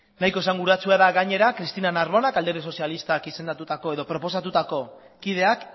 nahiko esanguratsua da gainera cristina narbonak alderdi sozialistak izendatutako edo proposatutako kideak